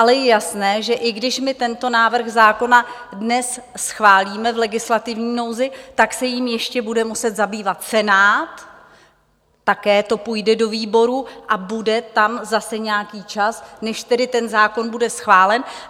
Ale je jasné, že i když my tento návrh zákona dnes schválíme v legislativní nouzi, tak se jím ještě bude muset zabývat Senát, také to půjde do výborů a bude tam zase nějaký čas, než tedy ten zákon bude schválen.